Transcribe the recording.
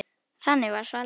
Þannig var Svala.